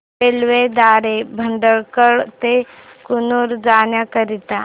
railway द्वारे भटकळ ते कन्नूर जाण्या करीता